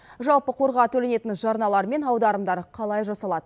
жалпы қорға төленетін жарналар мен аударымдар қалай жасалады